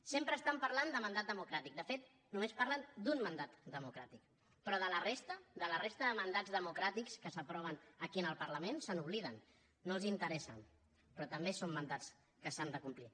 sempre estan parlant de mandat democràtic de fet només parlen d’un mandat democràtic però de la resta de la resta de mandats democràtics que s’aproven aquí en el parlament se n’obliden no els interessen però també són mandats que s’han de complir